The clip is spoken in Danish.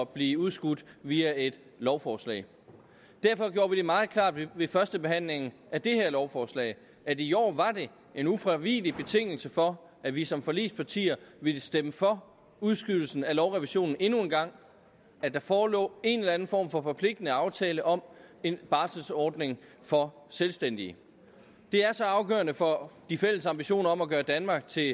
blive udskudt via et lovforslag derfor gjorde vi det meget klart ved førstebehandlingen af det her lovforslag at i år var det en ufravigelig betingelse for at vi som forligspartier ville stemme for udskydelsen af lovrevisionen endnu en gang at der forelå en eller anden form for forpligtende aftale om en barselordning for selvstændige det er så afgørende for de fælles ambitioner om at gøre danmark til